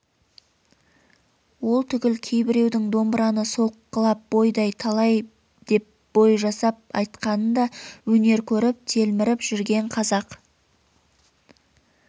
ол түгіл кейбіреудің домбыраны соққылап бойдай талай деп бой жасап айтқанын да өнер көріп телміріп жүрген қазақ